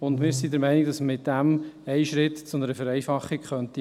Wir sind der Meinung, wir könnten so einen Schritt in Richtung Vereinfachung machen.